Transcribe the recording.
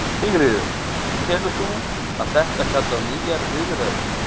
Sigríður: Telur þú að þetta kalli á nýjar viðræður?